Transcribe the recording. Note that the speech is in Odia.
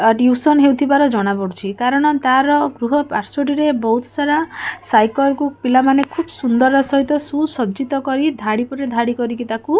ଆ ଟ୍ୟୁସନ ହେଇଥିବାର ଜଣା ପଡୁଛି କାରଣ ତାର ଗୃହ ପାର୍ଶ୍ଵ ଟିରେ ବହୁତ ସାରା ସାଇକେଲ କୁ ପିଲାମାନେ ଖୁବସୁନ୍ଦର ସହିତ ସୁସଜ୍ଜିତ କରି ଧାଡି ପରେ ଧାଡି କରିକି ତାକୁ ---